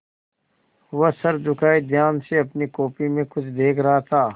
वह सर झुकाये ध्यान से अपनी कॉपी में कुछ देख रहा था